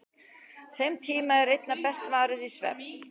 Þeim tíma er einna best varið í svefn.